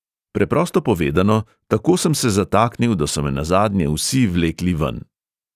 Preprosto povedano, tako sem se zataknil, da so me nazadnje vsi vlekli ven.